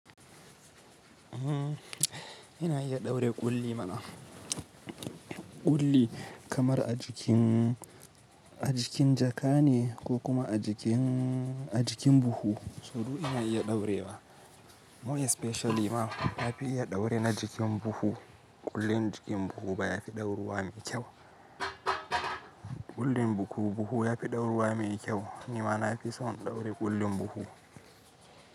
Ehh, ina iya ɗaure ƙulli mana. Ƙulli kamar a jikin, a jikin jaka ne ko kuma a jikin, a jikin buhu, so duk ina iya ɗaurewa. More especially ma na fi iya ɗaure na jikin buhu. Ƙullin jikin buhu baya fi ɗauruwa mai kyau. Ƙullin buhu buhu ya fi ɗauruwa mai kyau. Ni ma na fi son in ɗaure ƙullin buhu.